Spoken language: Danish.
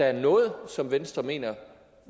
er noget som venstre mener